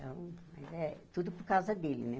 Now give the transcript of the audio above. Então, eh tudo por causa dele, né?